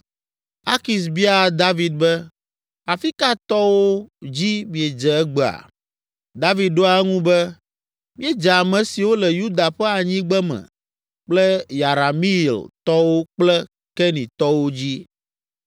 Akis biaa David be, “Afi ka tɔwo dzi miedze egbea?” David ɖoa eŋu be, “Míedze ame siwo le Yuda ƒe anyigbeme kple Yerameeltɔwo kple Kenitɔwo dzi.”